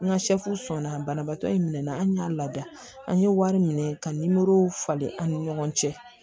N ka sɔnna banabaatɔ in minɛ na an y'a lada an ye wari minɛ ka nimoro falen an ni ɲɔgɔn cɛ